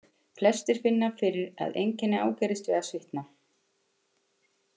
Hreyfing: Flestir finna fyrir að einkenni ágerist við að svitna.